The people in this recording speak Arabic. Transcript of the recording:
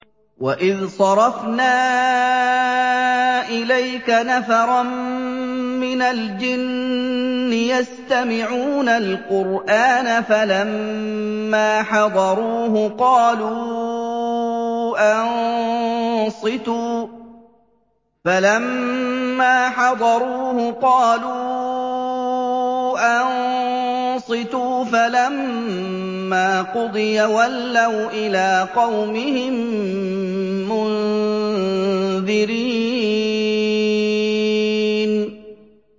وَإِذْ صَرَفْنَا إِلَيْكَ نَفَرًا مِّنَ الْجِنِّ يَسْتَمِعُونَ الْقُرْآنَ فَلَمَّا حَضَرُوهُ قَالُوا أَنصِتُوا ۖ فَلَمَّا قُضِيَ وَلَّوْا إِلَىٰ قَوْمِهِم مُّنذِرِينَ